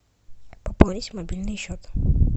пополнить мобильный счет